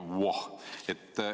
Voh!